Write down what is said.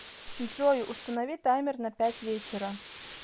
джой установи таймер на пять вечера